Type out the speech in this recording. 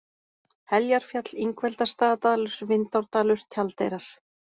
Heljarfjall, Ingveldarstaðadalur, Vindárdalur, Tjaldeyrar